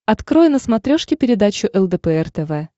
открой на смотрешке передачу лдпр тв